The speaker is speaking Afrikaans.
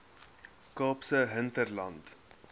kaapse hinterland